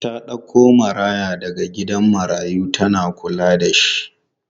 Ta ɗauko maraya daga gidan marayu tana kulla da shi.